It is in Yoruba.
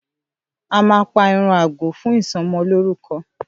À mà pà ẹran àgbo fún isọmọ loruko